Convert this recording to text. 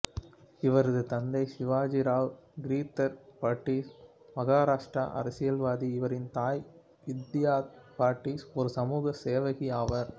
இவரது தந்தை சிவாஜிராவ் கிரிதர் பட்டீல் மகாராஷ்டிர அரசியல்வாதி இவரின் தாய் வித்யாதை பட்டீல் ஒரு சமூக சேவகி ஆவார்